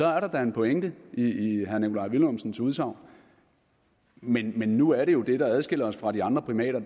er der da en pointe i i herre nikolaj villumsens udsagn men men nu er jo det der adskiller os fra de andre primater